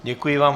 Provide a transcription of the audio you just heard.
Děkuji vám.